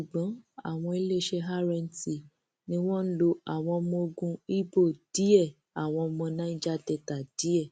ṣùgbọn àwọn iléeṣẹ rnc ni wọn ń lo àwọn ọmọ ogun ibo díẹ ọmọ nàíjà delta díẹ